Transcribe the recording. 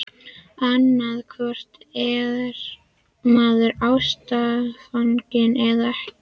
Annaðhvort er maður ástfanginn- eða ekki!